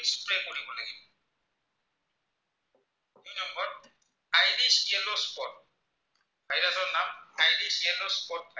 yellow spot থাকে